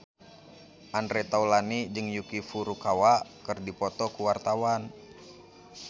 Andre Taulany jeung Yuki Furukawa keur dipoto ku wartawan